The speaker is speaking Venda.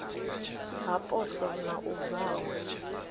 ha poswo na u valwa